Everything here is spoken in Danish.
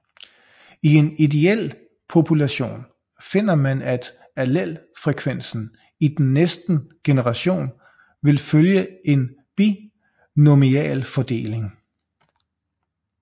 I en ideel population finder man at allelfrekvensen i den næsten generation vil følge en binomialfordeling